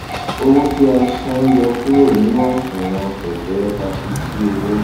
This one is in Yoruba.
owó tí a san yọ kúrò nínú àsunwon kẹkẹ a fi sí owó